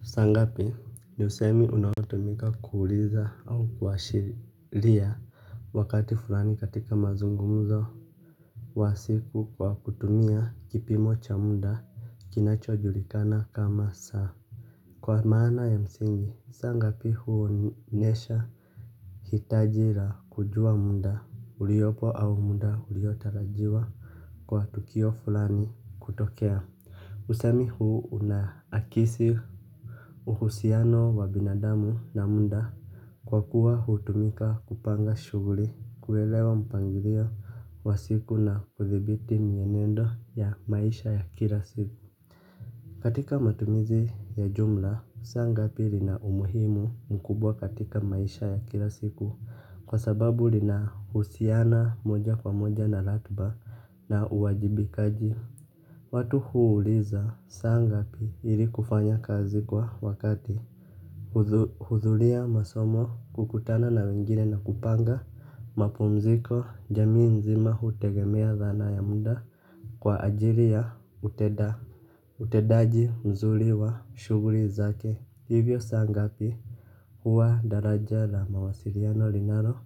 Saa ngapi ni usemi unaotumika kuuliza au kuashiria wakati fulani katika mazungumzo. Wa siku kwa kutumia kipimo cha muda kinachojulikana kama saa. Kwa maana ya msingi, saa ngapi huonyesha. Hitaji la kujua muda, uliopo au muda uliotarajiwa. Kwa tukio fulani kutokea usemi huu unaakisi uhusiano wa binadamu na muda kwa kuwa hutumika kupanga shughuli kuelewa mpangilio wa siku na kuthibiti mienendo ya maisha ya kila siku. Katika matumizi ya jumla, saa ngapi lina umuhimu mkubwa katika maisha ya kila siku kwa sababu lina husiana moja kwa moja na ratiba na uwajibikaji. Watu huuliza saa ngapi ili kufanya kazi kwa wakati. Hudhuria masomo kukutana na wengine na kupanga mapumziko jamii nzima hutegemea dhana ya muda. Kwa ajili ya utenda utendaji mzuri wa shughuli zake hivyo saa ngapi huwa daraja la mawasiliano linalo